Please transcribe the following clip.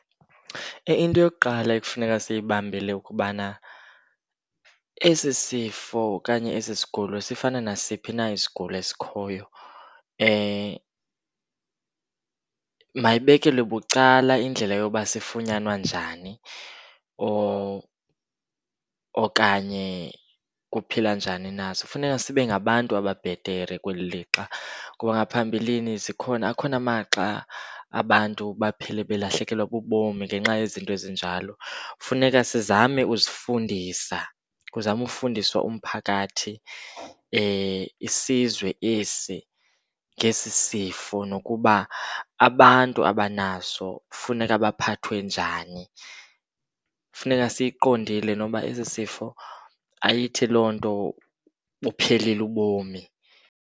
Into yokuqala ekufuneka siyibambile kubana esi sifo okanye esi sigulo sifana nasiphi na isigulo esikhoyo. Mayibekelwe bucala indlela yoba sifunyanwa njani or okanye kuphilwa njani naso, kufuneka sibe ngabantu ababhetere kweli lixa. Kuba ngaphambilini zikhona akhona amaxa abantu baphele belahlekelwa bubomi ngenxa yezinto ezinjalo. Funeka sizame uzifundisa, kuzame ufundiswa umphakathi isizwe esi ngesi sifo nokuba abantu abanaso funeka baphathwe njani. Funeka siyiqondile noba esi sifo ayithi loo nto buphelile ubomi.